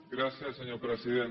gràcies senyor president